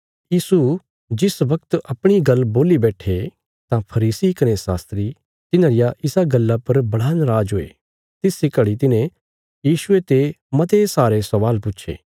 यीशु जिस बगत अपणी गल्ल बोल्ली बैट्ठे तां फरीसी कने शास्त्री तिन्हां रिया इसा गल्ला पर बड़ा नराज हुये तिस इ घड़ी तिन्हे यीशुये ते मते सारे स्वाल पुछे